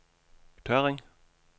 Tørring